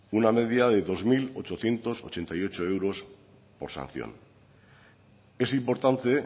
una media de dos mil ochocientos ochenta y ocho euros por sanción es importante